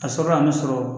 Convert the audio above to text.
A sɔrɔla a bɛ sɔrɔ